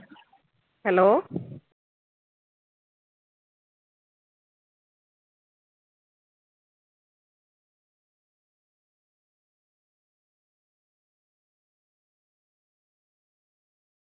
hello